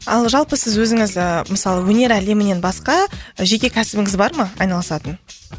ал жалпы сіз өзіңіз ыыы мысалы өнер әлемінен басқа жеке кәсібіңіз бар ма айналысатын